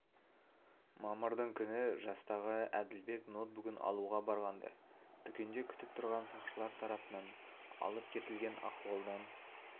мамырдың күні жастағы әділбек ноутбугін алуға барғанда дүкенде күтіп тұрған сақшылар тарапынан алып кетілген ахуалдан